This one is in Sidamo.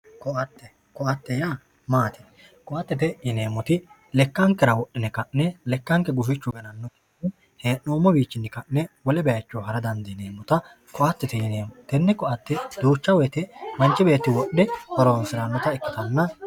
Koatte yaa maati? Koattete yineemmoti lekkankera wodhine ka'ne lekkanke gufichu ganannokki gede he'noommowiinni ka'ne wole bayicho hara dandiineemmota koattete yineemmo. Tenne koatte duucha woyite manchi beetti wodhe horoonsirannota ikkitanna...